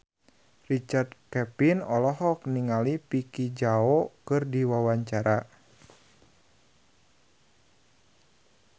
Richard Kevin olohok ningali Vicki Zao keur diwawancara